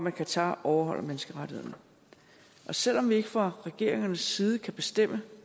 at qatar overholder menneskerettighederne selv om vi ikke fra regeringernes side kan bestemme